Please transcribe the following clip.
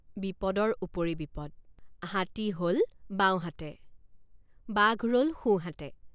বিপদৰ উপৰি বিপদ হাতী হল বাওঁহাতে বাঘ ৰল সোঁহাতে।